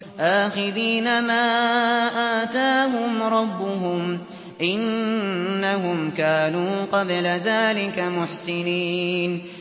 آخِذِينَ مَا آتَاهُمْ رَبُّهُمْ ۚ إِنَّهُمْ كَانُوا قَبْلَ ذَٰلِكَ مُحْسِنِينَ